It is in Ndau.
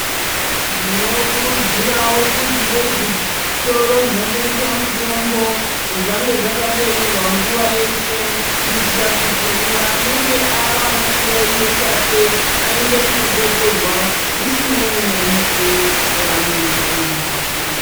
Tinokurudzirawo kuti dei zvitoro zvinotengeswa mitombo zvange zvakabeurwa nguwa yeshe kuitira kuti uyo anenge awana chiyaiyo chake aende kuno betserwa zvisinei nemukuwo waanenge aendapo.